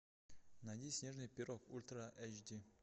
найди снежный пирог ультра айч ди